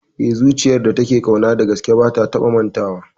Eh, zuciyar da take ƙauna dagaske ba ta taba mantawa